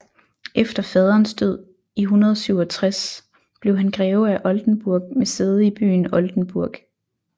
Efter faderens død i 167 blev han greve af Oldenburg med sæde i byen Oldenburg